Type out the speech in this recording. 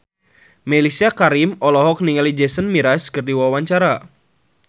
Mellisa Karim olohok ningali Jason Mraz keur diwawancara